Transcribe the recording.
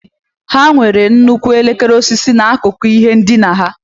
Ha nwere nnukwu elekere osisi n'akụkụ ihe ndina ha.